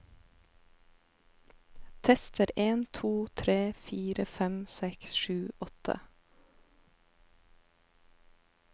Tester en to tre fire fem seks sju åtte